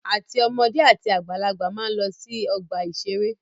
Àti ọmọdé àti àgbàlagbà máa ń lọ sí ọgbà-ìṣeré